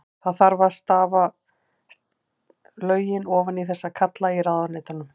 Það þarf að stafa lögin ofan í þessa kalla í ráðuneytunum.